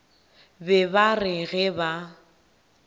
be ba re ge ba